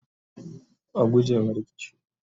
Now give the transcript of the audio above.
a guje ma rikici!